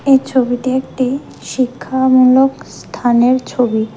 এই ছবিটি একটি শিক্ষামূলক স্থানের ছবি।